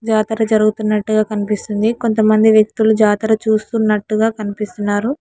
జాతక జరుగుతున్నట్టుగా కనిపిస్తుంది కొంతమంది వ్యక్తులు జాతర చూస్తున్నట్టుగా కనిపిస్తున్నారు.